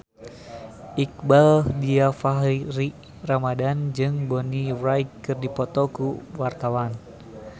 Iqbaal Dhiafakhri Ramadhan jeung Bonnie Wright keur dipoto ku wartawan